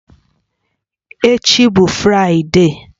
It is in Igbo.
Echi bụ Fraịde